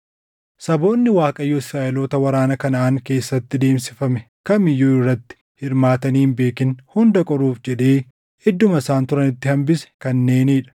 Saboonni Waaqayyo Israaʼeloota waraana Kanaʼaan keessatti deemsifame kam iyyuu irratti hirmaatanii hin beekin hunda qoruuf jedhee idduma isaan turanitti hambise kanneenii dha;